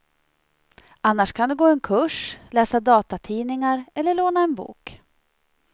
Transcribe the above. Annars kan du gå en kurs, läsa datatidningar eller låna en bok.